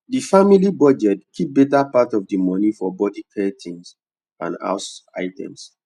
the family budget keep better part of the money for body care things and house items